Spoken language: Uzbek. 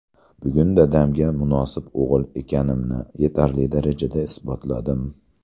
Bugun dadamga munosib o‘g‘il ekanimni yetarli darajada isbotladim.